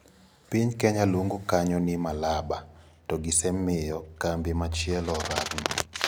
Piny Kenya luongo kanyo ni Malaba to gisemiyo kambi machielo orakno.